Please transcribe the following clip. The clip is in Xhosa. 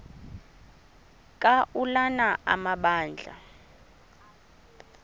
ka ulana amabandla